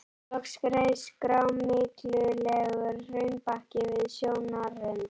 Loks reis grámyglulegur hraunbakki við sjónarrönd.